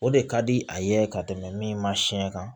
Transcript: O de ka di a ye ka tɛmɛ min ma siɲɛ kan